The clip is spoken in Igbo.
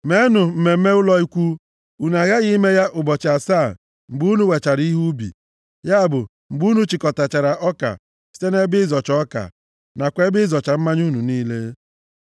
Mmenụ mmemme ụlọ Ikwu. Unu aghaghị ime ya ụbọchị asaa mgbe unu wechara ihe ubi, ya bụ, mgbe unu chịkọtachara ọka site nʼebe ịzọcha ọka, nakwa ebe ịzọcha mmanya unu niile